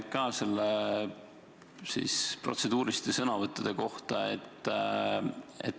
Ka mul on küsimus protseduurilise sõnavõttu kohta.